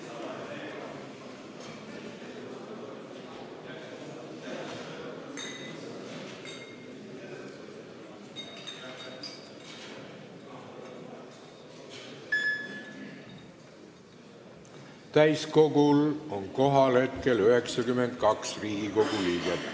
Kohaloleku kontroll Täiskogul on kohal 92 Riigikogu liiget.